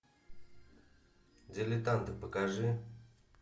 дилетанты покажи